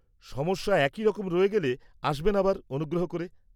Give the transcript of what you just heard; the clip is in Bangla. -সমস্যা একইরকম রয়ে গেলে আসবেন আবার অনুগ্রহ করে।